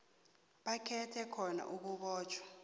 bakhethe khona ukubotjhwa